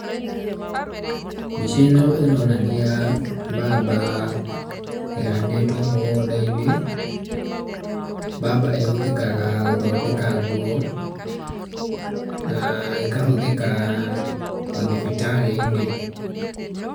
Mbica ĩno ĩronania mbamba ĩhandĩtwo mũgũnda-inĩ, mbamba ĩhũthĩkaga gũthondeka nguo, ĩkahũthĩka mathibitarĩ-inĩ.